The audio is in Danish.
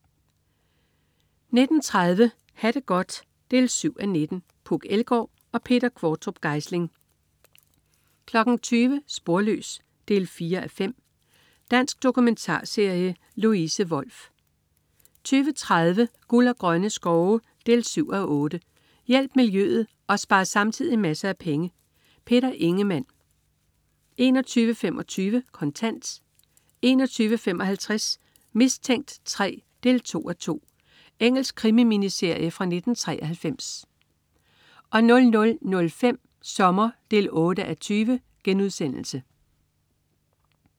19.30 Ha' det godt 7:19. Puk Elgård og Peter Qvortrup Geisling 20.00 Sporløs 4:5. Dansk dokumentarserie. Louise Wolff 20.30 Guld og grønne skove 7:8. Hjælp miljøet og spar samtidig masser af penge. Peter Ingemann 21.25 Kontant 21.55 Mistænkt 3, 2:2. Engelsk krimi-miniserie fra 1993 00.05 Sommer 8:20*